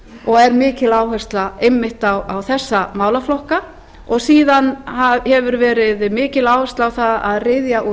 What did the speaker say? og er mikil áhersla einmitt á þessa málaflokka síðan hefur verið mikil áhersla á að ryðja úr